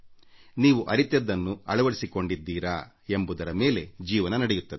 ನೀವು ಅರಿತಿದ್ದನ್ನು ಅಳವಡಿಸಿಕೊಂಡಿದ್ದೀರಾ ಎಂಬುದರ ಮೇಲೆ ಜೀವನ ನಡೆಯುತ್ತದೆ